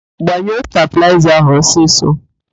Gbanyụo stabịlaịza ahụ ọsịsọ!